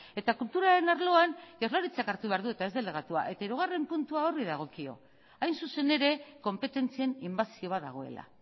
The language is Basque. eta kulturaren arloan jaurlaritzak hartu behar du eta ez delegatuak hirugarrena puntua horri dagokio hain zuzen ere konpetentzien inbasio bat dagoela